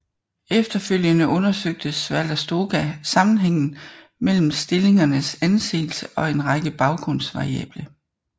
Efterfølgende undersøgte Svalastoga sammenhængen mellem stillingernes anseelse og en række baggrundsvariable